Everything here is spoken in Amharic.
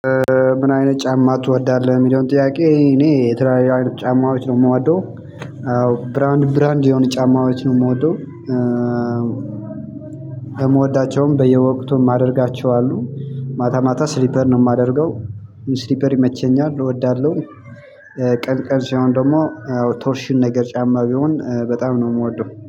ምን አይነት ጫማ ትወዳለህ የሚለውን ጥያቄ እኔ የትራሊያውያን ጫማዎች ነው የምወደው። ብራንድ ብራንድ የሆነ ጫማዎች ነው የምወደው። የምወዳቸውም በየወቅቱም ማደርጋቸው አሉ። ማታ ማታ ስሊፐር ነው የማደርገው። ስሊፐር ይመቸኛል እወዳለሁ። ቀን ቀን ሲሆን ደግሞ ቶርሽን ነገር ጫማ ቢሆን በጣም ነው የምወደው